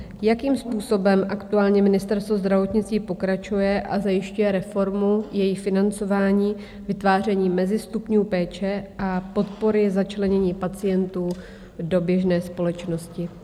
Jakým způsobem aktuálně Ministerstvo zdravotnictví pokračuje a zajišťuje reformu, její financování, vytváření mezistupňů péče a podpory začlenění pacientů do běžné společnosti?